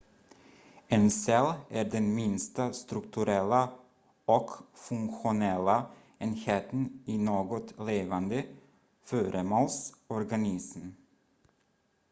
en cell är den minsta strukturella och funktionella enheten i något levande föremåls organism